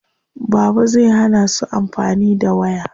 Baba zai hana su amfani da waya.